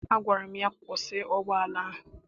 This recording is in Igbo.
Agwara m ya, kwụsị ụgbọala ahụ!